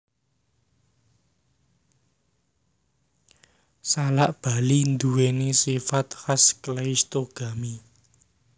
Salak Bali nduwèni sifat khas kleistogami